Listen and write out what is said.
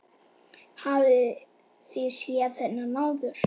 Hafið þið séð þennan áður?